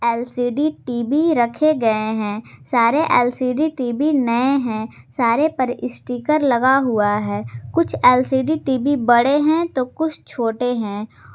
LCD TV रखे गए हैं सारे एल_सी_डी टी_वी नए हैं सारे पर स्टीकर लगा हुआ है कुछ एल_सी_डी टी_वी बड़े हैं तो कुछ छोटे हैं।